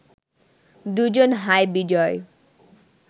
দু’জন হাই বিজয়